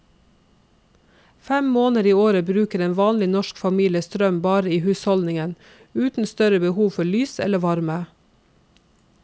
Fem måneder i året bruker en vanlig norsk familie strøm bare i husholdningen, uten større behov for lys eller varme.